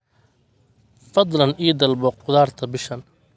fadlan ii dalbo khudaarta bishan